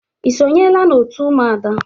Ị sonyela n'otu Ụmụada?